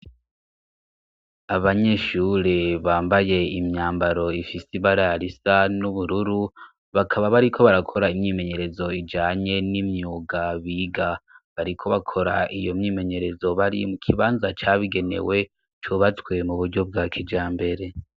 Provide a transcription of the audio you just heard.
Abanyeshure bambaye imyambaro ifise ibara risa n'ubururu, bakaba bariko barakora imyimenyerezo ijanye n'imyuga biga. Bariko bakora iyo myimenyerezo bari mu kibanza cabigenewe cubatswe mu buryo bwa kijambere.